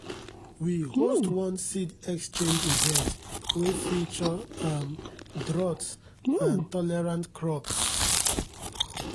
we host one seed exchange event wey feature um drought-tolerant crops.